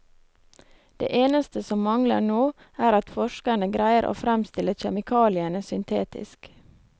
Det eneste som mangler nå, er at forskerne greier å fremstille kjemikaliene syntetisk.